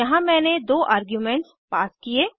यहाँ मैंने दो आर्ग्यूमेंट्स पास किये